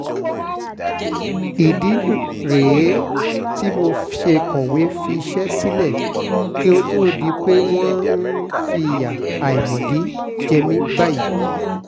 ìdí rèé tí mo ṣe kọ̀wé fiṣẹ́ sílẹ̀ kó tóó di pé wọ́n ń fìyà àìmọ̀dí jẹ mí báyìí